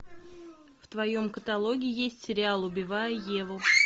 в твоем каталоге есть сериал убивая еву